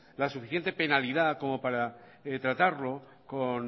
la suficiente penalidad como para tratarlo con